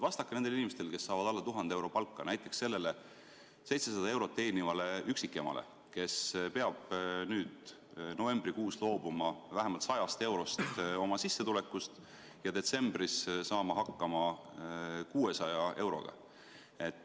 Vastake nendele inimestele, kes saavad alla 1000 euro palka, näiteks sellele 700 eurot teenivale üksikemale, kes peab nüüd novembrikuus loobuma vähemalt 100 eurost oma sissetulekust ja detsembris saama hakkama 600 euroga.